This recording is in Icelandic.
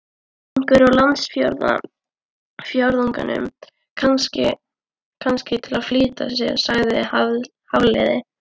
Einhvern úr landsfjórðungnum, kannski, til að flýta fyrir sagði Hafliði.